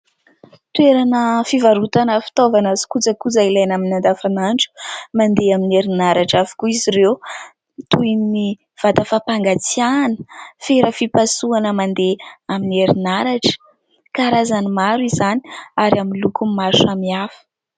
Toerana fivarotana fitaovana sy kojakoja ilaina amin'ny andavanandro. Mandeha amin'ny herinaratra avokoa izy ireo toy ny vata fampangatsiahana, fera fipasohana mandeha amin'ny herinaratra ; karazany maro izany ary aminy lokony maro samihafa.